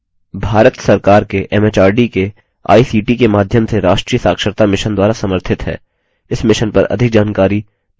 भारत सरकार के एमएचआरडी के आईसीटी के माध्यम से राष्ट्रीय साक्षरता mission द्वारा समर्थित है